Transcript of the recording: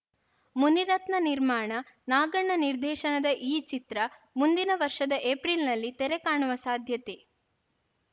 ಮುನಿರತ್ನ ನಿರ್ಮಾಣ ನಾಗಣ್ಣ ನಿರ್ದೇಶನದ ಈ ಚಿತ್ರ ಮುಂದಿನ ವರ್ಷದ ಏಪ್ರಿಲ್‌ನಲ್ಲಿ ತೆರೆ ಕಾಣುವ ಸಾಧ್ಯತೆ